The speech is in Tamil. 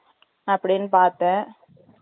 அப்படின்னு பார்த்தன்